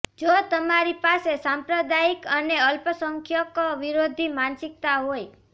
જો તમારી પાસે સાંપ્રદાયિક અને અલ્પસંખ્યક વિરોધી માનસિકતા હોય